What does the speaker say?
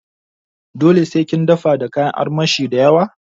Dole sai kin dafa da kayan armashi dayawa?